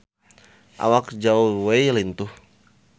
Awak Zhao Wei lintuh